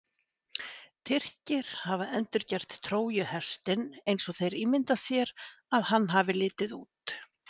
Tyrkir hafa endurgert Trójuhestinn eins og þeir ímynda sér að hann hafi litið út.